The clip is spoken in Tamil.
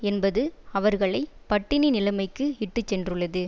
என்பது அவர்களை பட்டினி நிலைமைக்கு இட்டுச்சென்றுள்ளது